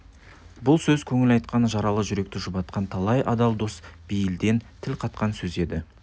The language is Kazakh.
бұл сөз көңіл айтқан жаралы жүректі жұбатқан талай адал дос бейілден тіл қатқан сөз еді